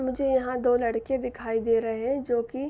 मुझे यहां दो लड़के दिखाई दे रहे है जो की--